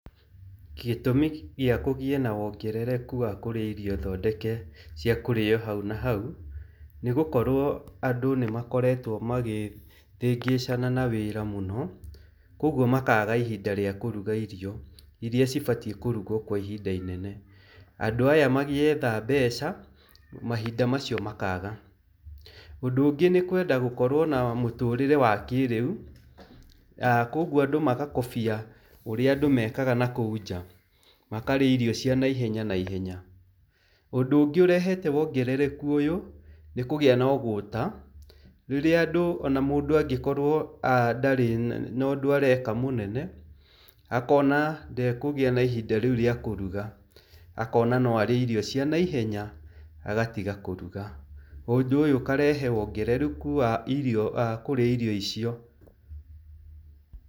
Gĩtũmi gĩa kũgĩe na wongerereku wa kũrĩa irio thondeke cia kũrĩo hau na hau, nĩ gũkorwo andũ nĩ makoretwo makĩhĩngĩcana na wĩra mũno, koguo makaaga ihinda rĩa kũruga irio irĩa cibatiĩ kũrugwo kwa ihinda inene. Andũ aya magĩetha mbeca mahinda macio makaaga. Ũndũ ũngĩ nĩ kwenda gũkorwo na mũtũũrĩre wa kĩrĩu, koguo andũ magakobia ũrĩa andũ mekaga na kũu nja. Makarĩa irio cia naihenya naihenya. Ũndũ ũngĩ ũrehete wongerereku ũyũ nĩ kũgĩa na ũgũta. Rĩrĩa andũ ona mũndu angĩkorwo ndarĩ na ũndũ areka mũnene akona ndekũgĩa na ihinda rĩu rĩa kũruga, akona no arĩe irio cia naihenya agatiga kũruga. Na ũndũ ũyũ ũkarehe wongerereku wa kũrĩa irio icio.